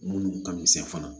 Munnu ka misɛn fana